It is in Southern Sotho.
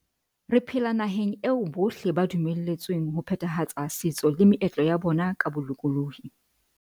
Re phela nahaneg eo bohle ba dumeletsweng ho phethahatsa setso le meetlo ya bona ka bolokolohi.